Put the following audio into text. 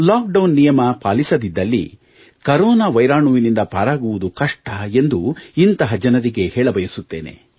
lock down ನಿಯಮ ಪಾಲಿಸದಿದ್ದಲ್ಲಿ corona ವೈರಾಣುವಿನಿಂದ ಪಾರಾಗುವುದು ಕಷ್ಟ ಎಂದು ಇಂಥಹ ಜನರಿಗೆ ಹೇಳಬಯಸುತ್ತೇನೆ